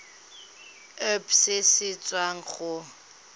irp se se tswang go